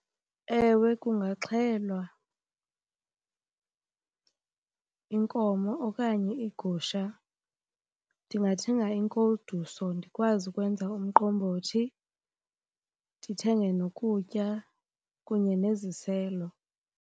Ewe, kungaxhelwa inkomo okanye igusha. Ndingathenga inkoduso ndikwazi ukwenza umqombothi, ndithenge nokutya kunye neziselo.